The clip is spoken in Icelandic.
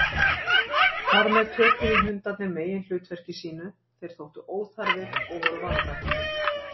Þar með töpuðu hundarnir meginhlutverki sínu, þeir þóttu óþarfir og voru vanræktir.